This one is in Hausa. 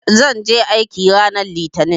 Zan je aiki ranar Litinin.